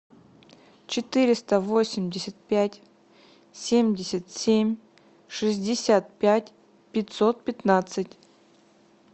четыреста восемьдесят пять семьдесят семь шестьдесят пять пятьсот пятнадцать